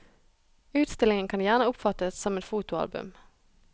Utstillingen kan gjerne oppfattes som et fotoalbum.